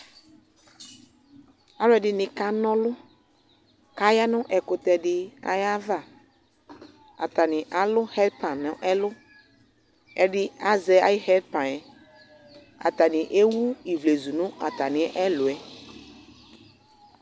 Alʋɛdɩnɩ kana ɔlʋ kʋ aya nʋ ɛkʋtɛ dɩ ayava Atanɩ alʋ ɣɛdpan nʋ ɛlʋ Ɛdɩ azɛ ayʋ ɣɛdpan yɛ Atanɩ ewu ivlezu nʋ atamɩ ɛlʋ yɛ